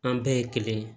An bɛɛ ye kelen ye